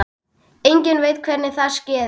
Enginn veit hvernig það skeði.